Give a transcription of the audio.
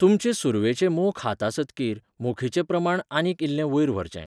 तुमचें सुरवेची मोख हातासतकीर, मोखीचें प्रमाण आनीक इल्लें वयर व्हरचें.